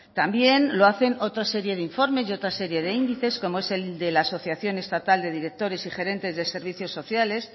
también lo hacen otras series de informes y otra serie de índices como es el de la asociación estatal de directores y gerentes de servicios sociales